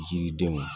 Yiridenw